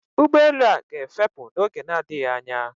Ụgbọelu a ga-efepù n'oge na-adịghị anya